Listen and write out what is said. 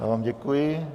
Já vám děkuji.